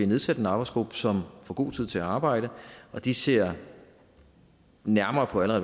nedsat en arbejdsgruppe som får god tid til at arbejde og de ser nærmere på alle